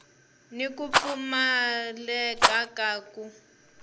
ni ku pfumaleka ka ku